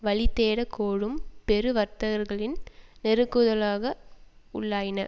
வழி தேடக் கோரும் பெரு வர்த்தகர்களின் நெருக்குதலுக்கு உள்ளாயின